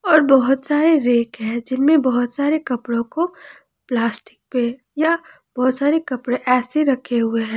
और बहोत सारे रेक है जिनमें बहोत सारे कपड़ों को प्लास्टिक पे या बहोत सारे कपड़े ऐसे रखे हुए हैं।